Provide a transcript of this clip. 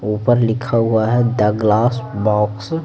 ऊपर लिखा हुआ है द ग्लास बॉक्स --